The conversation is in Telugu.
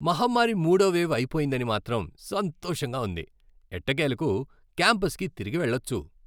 మహమ్మారి మూడో వేవ్ అయిపోయిందని మాత్రం సంతోషంగా ఉంది, ఎట్టకేలకు క్యాంపస్కి తిరిగి వెళ్ళొచ్చు.